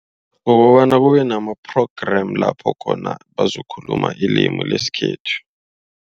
Kukobana kube nama-program lapho khona bazokhuluma ilimu lesikhethu.